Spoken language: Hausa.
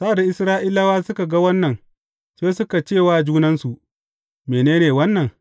Sa’ad da Isra’ilawa suka ga wannan, sai suka ce wa junansu, Mene ne wannan?